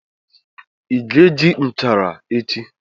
Ị ga-eji nchara echi?